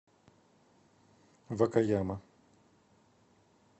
вакаяма